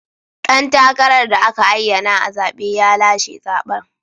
Dan takarar da aka ayyana a zabe ya lashe zaben.